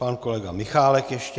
Pan kolega Michálek ještě.